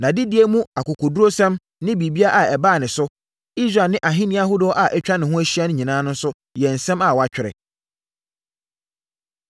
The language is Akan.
Nʼadedie mu akokoɔdurusɛm ne biribiara a ɛbaa ne so, Israel ne ahennie ahodoɔ a atwa ne ho ahyia nyinaa nso yɛ nsɛm a wɔatwerɛ.